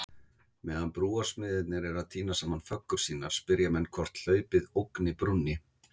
Meðan brúarsmiðirnir eru að týna saman föggur sínar, spyrja menn hvort hlaupið ógni brúnni?